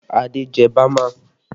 Adé jẹ bama